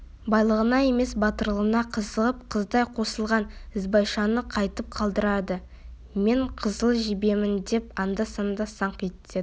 байлығына емес батырлығына қызығып қыздай қосылған ізбайшаны қайтіп қалдырады мен қызыл жебемін деп анда-санда саңқ ететін